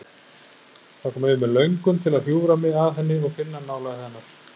Það kom yfir mig löngun til að hjúfra mig að henni og finna nálægð hennar.